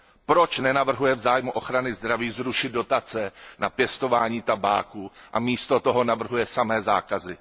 Proč nenavrhuje v zájmu ochrany zdraví zrušit dotace na pěstování tabáku a místo toho navrhuje samé zákazy?